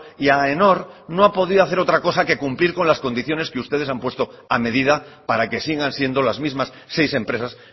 y aenor no ha podido hacer otra cosa que cumplir con las condiciones que ustedes han puesto a medida para que sigan siendo las mismas seis empresas